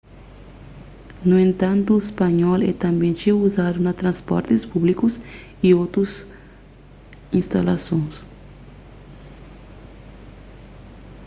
nu entantu spanhol é tanbê txeu uzadu na transportis públikus y otus instalason